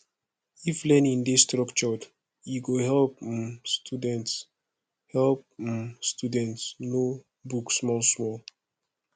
if learning dey structured e go help um students help um students know book small small